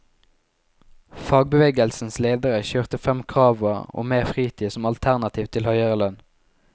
Fagbevegelsens ledere kjørte frem kravet om mer fritid som alternativ til høyere lønn.